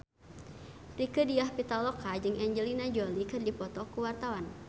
Rieke Diah Pitaloka jeung Angelina Jolie keur dipoto ku wartawan